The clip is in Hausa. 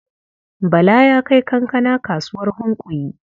Bala ya kai kankana kasuwar Hunkuyi.